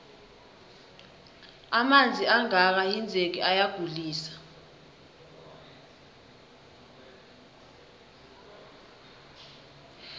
amanzi angaka hinzeki ayagulise